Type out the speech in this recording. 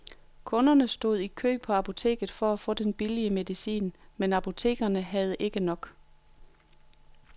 Kunderne stod i kø på apoteket for at få den billige medicin, men apotekerne havde ikke nok.